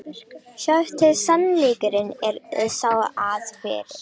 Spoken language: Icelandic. Sjáiði til, sannleikurinn er sá, að fyrir